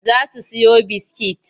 Za su siyo biskit.